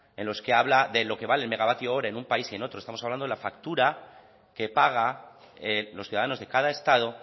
en los que habla de lo que vale el megavatio ahora en un país y otro estamos hablando de la factura que paga los ciudadanos de cada estado